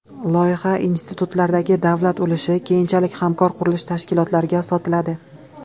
Loyiha institutlaridagi davlat ulushi keyinchalik hamkor qurilish tashkilotlariga sotiladi .